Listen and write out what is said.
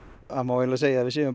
það má eiginlega segja að við séum